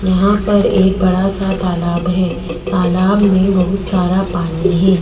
यहाँ पर एक बड़ा सा तालाब है तालाब में बहुत सारा पानी है।